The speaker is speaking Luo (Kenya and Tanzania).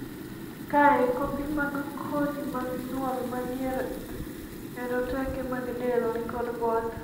kae, kopi mag kodhi mag nyuol manie roteke mag del nikod both